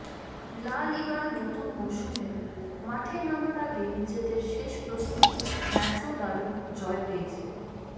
লা লিগার নতুন মৌসুমে মাঠে নামার আগে নিজেদের শেষ প্রস্তুতি ম্যাচেও দারুণ জয় পেয়েছে